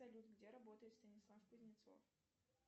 салют где работает станислав кузнецов